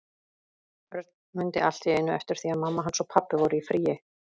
Örn mundi allt í einu eftir því að mamma hans og pabbi voru í fríi.